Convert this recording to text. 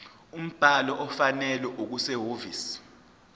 umbhalo ofanele okusehhovisi